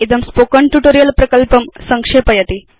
इदं spoken tutorial प्रकल्पं संक्षेपयति